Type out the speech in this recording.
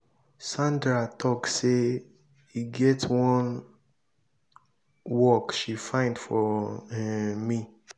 sandra talk say e get wan work she find for um me.